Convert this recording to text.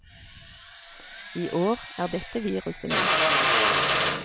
I år er dette viruset med.